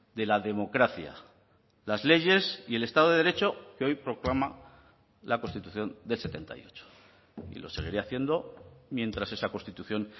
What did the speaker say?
de la democracia las leyes y el estado de derecho que hoy proclama la constitución del setenta y ocho y lo seguiré haciendo mientras esa constitución